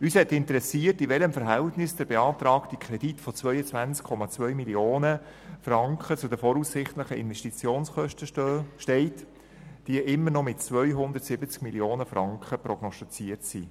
Es hat uns interessiert, in welchem Verhältnis der beantragte Kredit von 22,2 Mio. Franken zu den voraussichtlichen Investitionskosten steht, die immer noch mit 270 Mio. Franken prognostiziert werden.